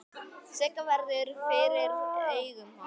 Sigga verður fyrir augum hans.